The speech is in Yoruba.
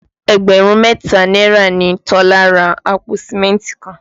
Ẹgbẹ̀rún mẹ́ta náírà ni Tọ́lá ra àpò Sìmẹ́ntì kan